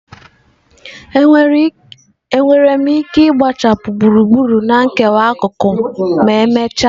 Enwere m ike gbuchapụ gburugburu na nkewa akụkụ ma emechaa?